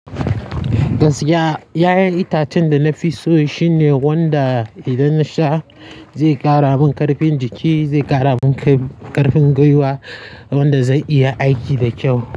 Gaskiya yayan itacen da na fi so shine wanda idan na sha zai ƙara min ƙarfin jiki, zai ƙara min ƙarfin gwiwa wanda zai iya aiki da kyau.